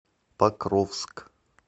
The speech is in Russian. покровск